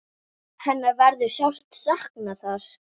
Hennar verður sárt saknað þar.